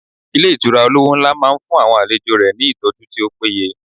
Ilé Ìtura olówó nlá máa n fún àwọn àlejò rẹ̀ ní ìtọ́jú tí ó péye